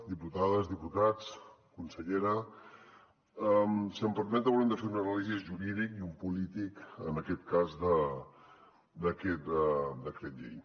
diputades diputats consellera si m’ho permeten haurem de fer una anàlisi jurídica i una de política en aquest cas d’aquest decret llei